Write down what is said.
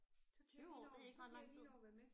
20 år det er ikke ret lang tid